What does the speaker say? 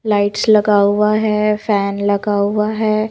Lights लगा हुआ है फैन लगा हुआ है।